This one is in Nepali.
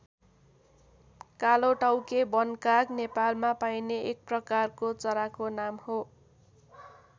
कालोटाउके वनकाग नेपालमा पाइने एक प्रकारको चराको नाम हो।